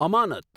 અમાનત